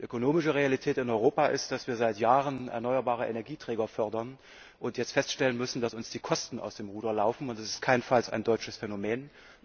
Die ökonomische Realität in Europa ist, dass wir seit Jahren erneuerbare Energieträger fördern und jetzt feststellen müssen, dass uns die Kosten aus dem Ruder laufen und das ist keinesfalls ein deutsches Phänomen.